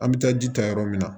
An bɛ taa ji ta yɔrɔ min na